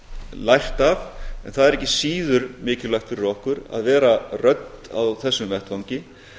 lært af en það er ekki síður mikilvægt fyrir okkur að vera rödd á þessum vettvangi